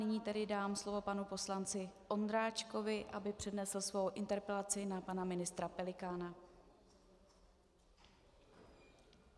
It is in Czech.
Nyní tedy dám slovo panu poslanci Ondráčkovi, aby přednesl svou interpelaci na pana ministra Pelikána.